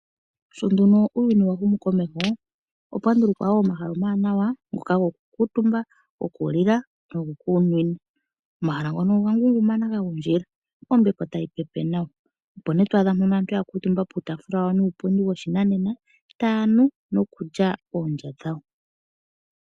Sho nduno uuyuni wahumukomeho opwandulukwa wo omahala omawanawa ngoka gokukuutumba, gokulila nogokunwina. Omahala ngono oga ngungumana gagundjila ombepo tayi pepe nawa, opo nee twaadha mpono aantu yakuutumba puutafula wawo nuupundi woshinanena taya nu nokulya oonlya dhawo.